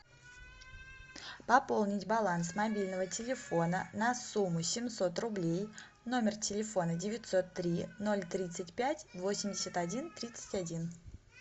пополнить баланс мобильного телефона на сумму семьсот рублей номер телефона девятьсот три ноль тридцать пять восемьдесят один тридцать один